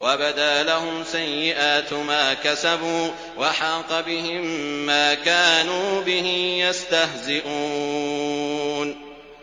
وَبَدَا لَهُمْ سَيِّئَاتُ مَا كَسَبُوا وَحَاقَ بِهِم مَّا كَانُوا بِهِ يَسْتَهْزِئُونَ